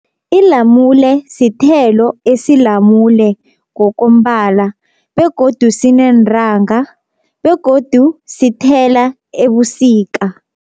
Ilamule sithelo esilamule ngokombala begodu sineentanga begodu sithela ebusika.